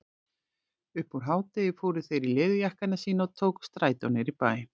Upp úr hádegi fóru þeir í leðurjakkana sína og tóku strætó niður í bæ.